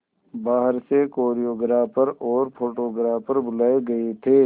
बाहर से कोरियोग्राफर और फोटोग्राफर बुलाए गए थे